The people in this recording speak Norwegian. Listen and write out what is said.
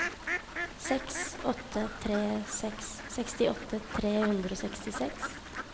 seks åtte tre seks sekstiåtte tre hundre og sekstiseks